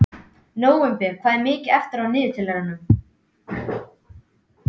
Nóvember, hvað er mikið eftir af niðurteljaranum?